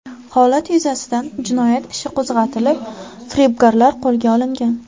Holat yuzasidan jinoyat ishi qo‘zg‘atilib, firibgarlar qo‘lga olingan.